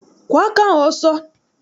Kwọọ aka ahụ ọsọ!